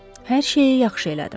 Hər şeyi yaxşı elədim.